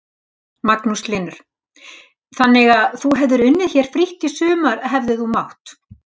Magnús Hlynur: Þannig að þú hefðir unnið hér frítt sumar hefðir þú mátt?